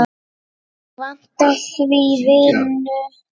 Mig vantar því vinnu.